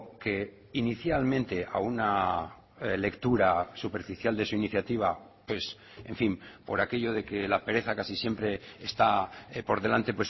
que inicialmente a una lectura superficial de su iniciativa pues en fin por aquello de que la pereza casi siempre está por delante